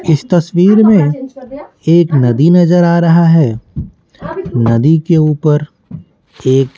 इस तस्वीर में एक नदी नजर आ रहा है नदी के ऊपर एक --